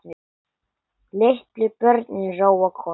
Litlu börnin róa kort.